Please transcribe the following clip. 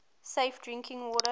safe drinking water